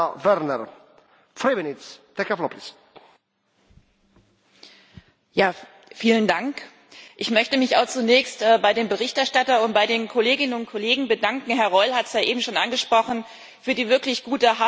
Herr Präsident! Ich möchte mich auch zunächst bei dem Berichterstatter und bei den Kolleginnen und Kollegen bedanken Herr Roll hat es ja eben schon angesprochen für die wirklich gute, harte Zusammenarbeit.